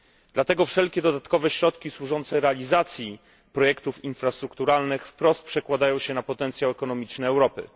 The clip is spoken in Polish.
Dlatego wszelkie dodatkowe środki służące realizacji projektów infrastrukturalnych przekładają się wprost na potencjał ekonomiczny Europy.